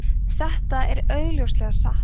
þetta er augljóslega ósatt